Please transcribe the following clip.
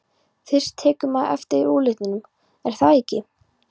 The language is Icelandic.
Fyrst tekur maður eftir útlitinu, er það ekki?